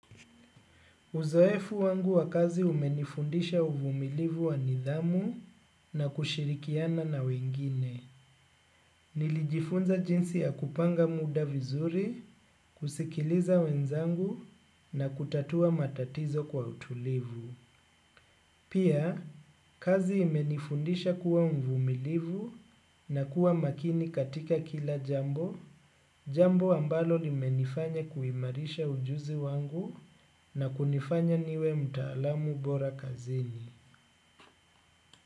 Uzoefu wangu wa kazi umenifundisha uvumilivu wa nidhamu na kushirikiana na wengine. Nilijifunza jinsi ya kupanga muda vizuri, kusikiliza wenzangu na kutatua matatizo kwa utulivu. Pia, kazi imenifundisha kuwa mvumilivu na kuwa makini katika kila jambo. Jambo ambalo limenifanya kuimarisha ujuzi wangu na kunifanya niwe mtaalamu bora kazini.